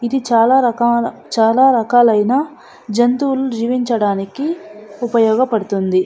ఇది చాలా రకాలు ఇది చాలా రకాలయిన జంతువులు జీవించడానికి ఉపయోగ పడుతుంది.